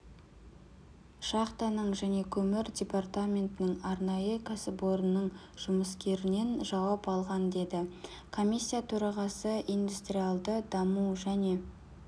шахтаның және көмір департаментінің арнайы кәсіпорнының жұмыскерінен жауап алған деді комиссия төрағасы индустриалды даму және